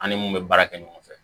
An ni mun bɛ baara kɛ ɲɔgɔn fɛ